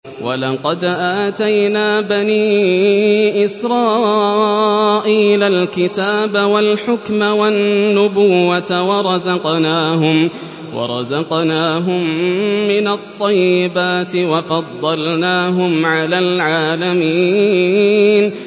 وَلَقَدْ آتَيْنَا بَنِي إِسْرَائِيلَ الْكِتَابَ وَالْحُكْمَ وَالنُّبُوَّةَ وَرَزَقْنَاهُم مِّنَ الطَّيِّبَاتِ وَفَضَّلْنَاهُمْ عَلَى الْعَالَمِينَ